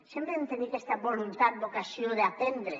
sempre hem de tenir aquesta voluntat vocació d’aprendre